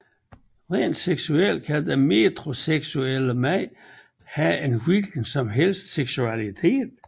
Rent seksuelt kan den metroseksuelle mand have en hvilken som helst seksualitet